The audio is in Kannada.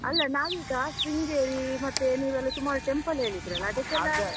ಅಲ್ಲ ನಾವೀಗ ಶೃಂಗೇರಿ ಮತ್ತೆ ನೀವೆಲ್ಲ ಸುಮಾರ್ temple ಹೇಳಿದ್ರಲ್ಲ ಅದಕ್ಕೆಲ್ಲ.